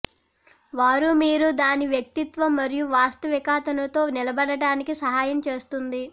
వారు మీరు దాని వ్యక్తిత్వం మరియు వాస్తవికతను తో నిలబడటానికి సహాయం చేస్తుంది